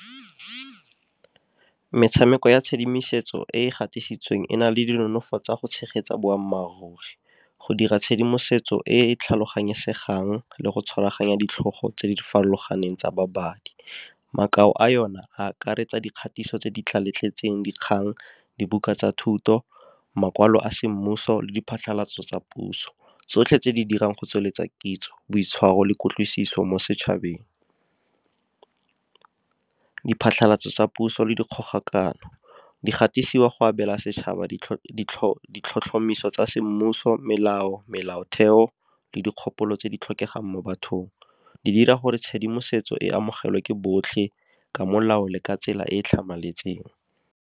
Metshameko ya tshedimosetso e e gatisitsweng e na le di nonofo tsa go tshegetsa boammaaruri. Go dira tshedimosetso e e tlhaloganyesegang le go tshwaraganya ditlhogo tse di farologaneng tsa babadi. Makao a yone a akaretsa dikgatiso tse di tlale tletseng, dikgang, dibuka tsa thuto, makwalo a semmuso, le diphatlhalatso tsa puso. Tsotlhe tse di dirang go tsweletsa kitso, boitshwaro le kutlwisiso mo setšhabeng. Diphatlhalatso tsa puso le dikgogakano di gatisiwa go abela setšhaba di ditlhotlhomiso tsa semmuso, melao, melaotheo, le dikgopolo tse di tlhokegang mo bathong. Di dira gore tshedimosetso e amogelwe ke botlhe ka molao le ka tsela e tlhamaletseng.